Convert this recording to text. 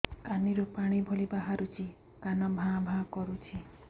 କାନ ରୁ ପାଣି ଭଳି ବାହାରୁଛି କାନ ଭାଁ ଭାଁ କରୁଛି